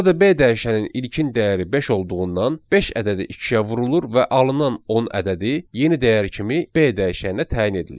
Burada B dəyişənin ilkin dəyəri beş olduğundan beş ədədi ikiyə vurulur və alınan 10 ədədi yeni dəyər kimi B dəyişəninə təyin edilir.